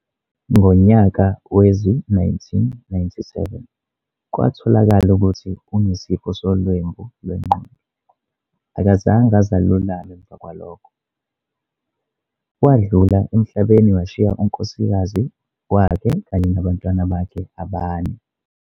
Ngonyaka wezi-1997 kwatholaka ukuthi unesifo solwembu lwengqondo, akazange aze alulame emva kwalokho. Wadlula emhlabeni washiya unkosikazi wakhe kanye nabantwana bakhe abane.